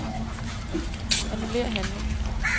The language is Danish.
Annullér handling.